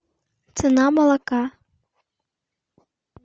цена молока